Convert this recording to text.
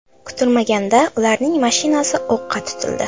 Kutilmaganda ularning mashinasi o‘qqa tutildi.